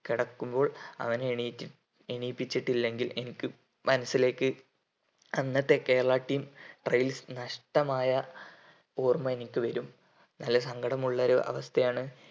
കിടക്കുമ്പോൾ അവനെ എണീറ്റ് എണീപ്പിച്ചിട്ടില്ലെങ്കിൽ എനിക്ക് മനസ്സിലേക്ക് അന്നത്തെ കേരളാ team trials നഷ്‌ടമായ ഓർമ എനിക്ക് വരും നല്ല സങ്കടം ഉള്ളൊരു അവസ്ഥയാണ്